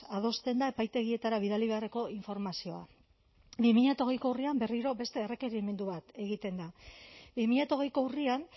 adosten da epaitegietara bidali beharreko informazioa bi mila hogeiko urrian berriro beste errekerimendu bat egiten da bi mila hogeiko urrian